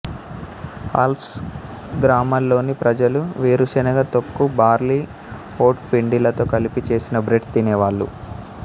Alps గ్రామాల్లోని ప్రజలు వేరుశనక తొక్కు బార్లీ ఓట్ పిండిలతో కలిపి చేసిన బ్రెడ్ తినేవాళ్ళు